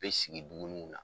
U be sigi dumuniw la.